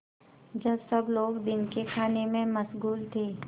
जब सब लोग दिन के खाने में मशगूल थे